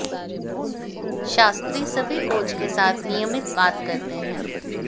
शास्त्री सभी कोच के साथ नियमित बात करते हैं